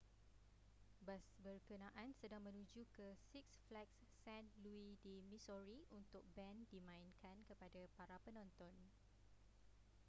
bas berkenaan sedang menuju ke six flags st louis di missouri untuk band dimainkan kepada para penonton